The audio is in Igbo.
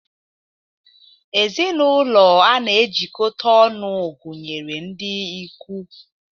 Ezinụlọ a na-ejikọta ọnụ gụnyere ndị ikwu.